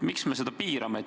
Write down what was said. Miks me seda piirame?